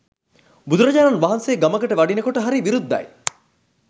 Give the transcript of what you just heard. බුදුරජාණන් වහන්සේ ගමකට වඩිනකොට හරි විරුද්ධයි.